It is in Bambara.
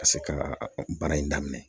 Ka se ka baara in daminɛ